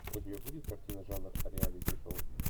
у тебя будет картина жанр реалити шоу